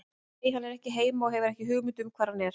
Nei, hann er ekki heima og ég hef ekki hugmynd um hvar hann er!